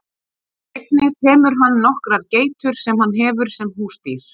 Einnig temur hann nokkrar geitur sem hann hefur sem húsdýr.